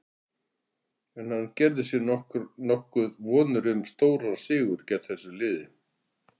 En gerði hann sér nokkuð vonir um svo stóran sigur gegn þessu liði?